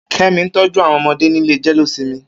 Kemi n tọjú awọn ọmọdé nilé jẹ̀léósìmì